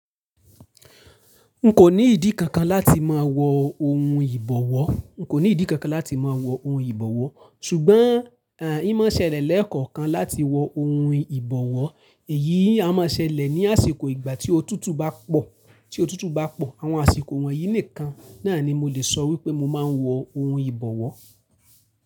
N kò ní ìdí kankan láti máa wọ ohun ìbọwọ́, n kò ní ìdí kankan láti máa wọ ohun ìbọwọ́, ṣùgbọ́n ń mọ̀ ṣẹlẹ̀ lẹ́ẹ̀kọ̀kan láti wọ ohun ìbọwọ́, èyí a máa ṣẹlẹ̀ ní àsìkò ìgbà tí otútù bá pò, tí otútù bá pò. Àwọn àsìkò wọ̀nyí nìkan náà ni mo le sọ wípé mo ma ń wọ ohun ìbọwọ́.